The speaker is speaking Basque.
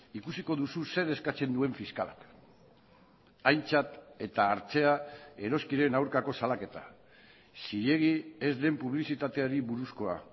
ikusiko duzu zer eskatzen duen fiskalak aintzat eta hartzea eroskiren aurkako salaketa zilegi ez den publizitateari buruzkoa